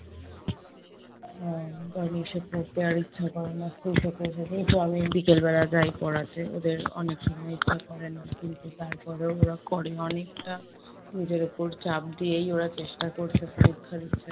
আহ বাড়ি এসে পড়তে আর ইচ্ছা করে না, school থেকে এসে সেই তো আমি বিকেল বেলা যাই পড়াতে। ওদের অনেক সময় ইচ্ছা করে না কিন্তু তারপরেও ওরা করে, অনেকটা নিজের ওপর চাপ দিয়েই ওরা চেষ্টা করছে , পরীক্ষা দিচ্ছে